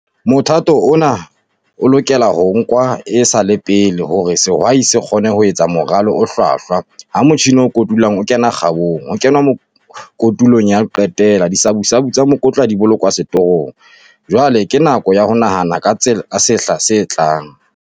MOTHATO ONA O LOKELA HO NKWA E SA LE PELE HORE SEHWAI SE KGONE HO ETSA MORALO O HLWAHLWA, HA MOTJHINE O KOTULANG O KENA KGABONG, HO KENWA KOTULONG YA HO QETELA, DISABUSABU TSA MEKOTLA DI BOLOKWA SETORONG, JWALE KE NAKO YA HO NAHANA KA TSA SEHLA SE TLANG.